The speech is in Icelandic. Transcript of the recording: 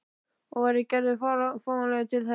Og væri Gerður fáanleg til þess?